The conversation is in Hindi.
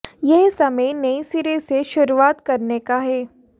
यह समय नए सिरे से शुरुआत करने का है